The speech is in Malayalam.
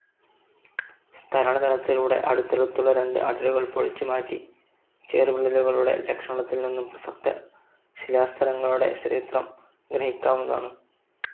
സ്തരണതലത്തിലൂടെ അടുത്തടുത്തുള്ള രണ്ട് അടരുകൾ പൊളിച്ചുമാറ്റി, ചേർവിള്ളലുകളുടെ ലക്ഷണത്തിൽനിന്നും പ്രസക്ത ശിലാസ്തരങ്ങളുടെ ചരിത്രം ഗ്രഹിക്കാവുന്നതാണ്.